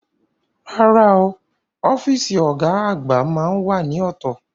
Rárá o, ọ́fíìsì ọ̀gá àgbà máá ń wà ní ọ̀tọ̀